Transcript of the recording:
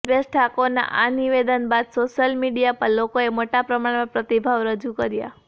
અલ્પેશ ઠાકોરના આ નિવેદન બાદ સોશિઅલ મીડિયા પર લોકોએ મોટા પ્રમાણમાં પ્રતિભાવ રજૂ કર્યા